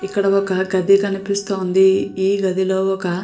ఇక్కడ ఒక గది కనిపిస్తుంది. ఈ గది లో ఒక --